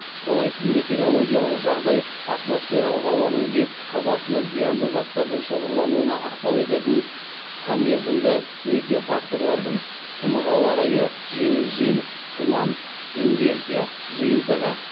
қолайсыз метеорологиялық жағдай атмосфералық ауаның беткі қабатында зиянды заттардың шоғырлануына ықпал ететін қысқамерзімді метеофакторлардың жиынтығы